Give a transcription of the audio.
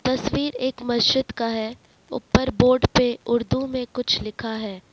तस्वीर एक मस्जिद का है ऊपर बोर्ड पर उर्दू में कुछ लिखा है।